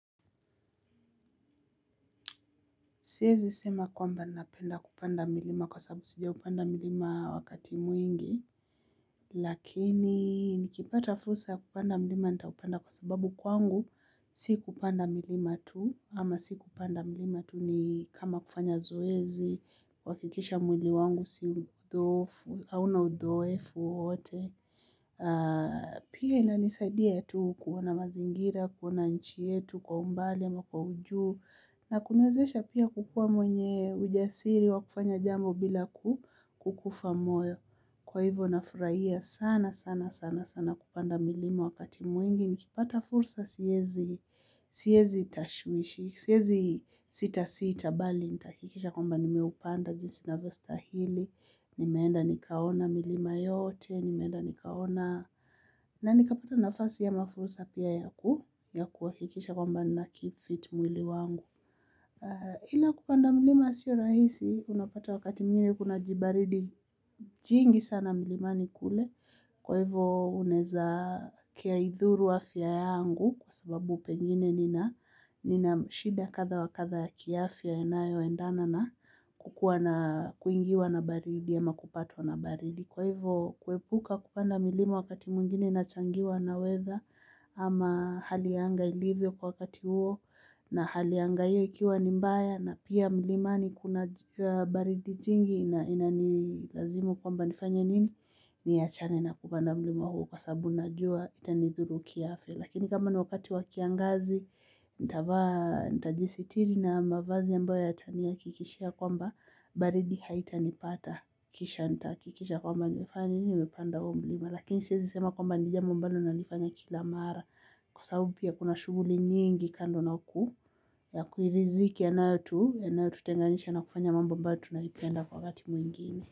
Siezi sema kwamba napenda kupanda milima kwa sababu sijaupanda mlima wakati mwingi. Lakini nikipata fursa ya kupanda milima nitaupanda kwa sababu kwangu si kupanda milima tu ama si kupanda milima tu ni kama kufanya zoezi, kuhakikisha mwili wangu si mdhofu, hauna udhoefu wowote. Pia inanisaidia tu kuona mazingira, kuona nchi yetu kwa umbali ama kwa ujuu na kuniwezesha pia kukuwa mwenye ujasiri wa kufanya jambo bila kukufa moyo. Kwa hivyo nafurahia sana sana sana sana kupanda milima wakati mwingi. Nikipata fursa siezi tashwishi siezi sitasita bali nitahakikisha kwamba nimeupanda jinsi inavyostahili nimeenda nikaona milima yote, nimeenda nikaona na nikapata nafasi ya ama fursa pia ya ku ya kuhakikisha kwamba nakeep fit mwili wangu ila kupanda mlima sio rahisi unapata wakati mwingine kuna jibaridi jingi sana mlimani kule kwa hivo unaeza kiaidhuru afya yangu kwa sabau pengine nina shida kadha wa kadha ya kiafya inayoendana na kukuwa na kuingiwa na baridi ama kupatwa na baridi. Kwa hivyo kuepuka kupanda milima wakati mwingine inachangiwa na weather ama hali ya anga ilivyo kwa wakati huo. Na hali ya anga hiyo ikiwa ni mbaya na pia milimani kuna jua baridi jingi. Na inani lazima kwamba nifanye nini niachane na kupanda mlima huo kwa sababu najua itanidhuru kiafya. Lakini kama ni wakati wa kiangazi nitavaa, nitajisitiri na mavazi ambayo yatanihakikishia kwamba baridi haitanipata, kisha nitahakikisha kwamba nimefanya nini, nimepanda huo mlima. Lakini siezi sema kwamba ni jambo ambalo nalifanya kila mara kwa sababu pia kuna shughuli nyingi kando na ku ya kuiriziki yanayotu, yanayotutenganisha na kufanya mambo ambayo tunaipenda kwa wakati mwingine.